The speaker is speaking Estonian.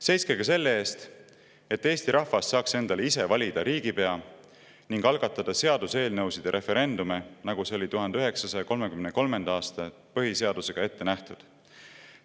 Seiske ka selle eest, et Eesti rahvas saaks endale ise valida riigipea ning algatada seaduseelnõusid ja referendumeid, nagu see oli 1933. aasta põhiseadusega ette nähtud.